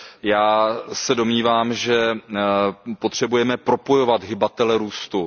Já se domnívám, že potřebujeme propojovat hybatele růstu.